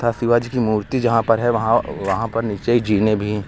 तथा शिवाजी की मूर्ति यहां पर है वहां वहां पर नीचे जीने भी--